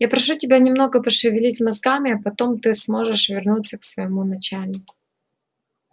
я прошу тебя немного пошевелить мозгами а потом ты сможешь вернуться к своему начальнику